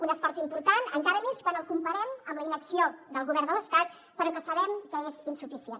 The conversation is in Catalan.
un esforç important encara més quan el comparem amb la inacció del govern de l’estat però que sabem que és insuficient